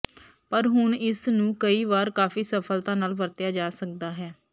ਪਰ ਹੁਣ ਇਸ ਨੂੰ ਕਈ ਵਾਰ ਕਾਫ਼ੀ ਸਫਲਤਾ ਨਾਲ ਵਰਤਿਆ ਜਾ ਸਕਦਾ ਹੈ